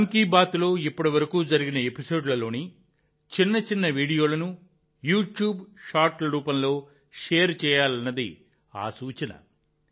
మన్ కీ బాత్లో ఇప్పటివరకు జరిగిన ఎపిసోడ్లలోని చిన్న చిన్న వీడియోలను యూట్యూబ్ షార్ట్ల రూపంలో షేర్ చేయాలనేది ఆ సూచన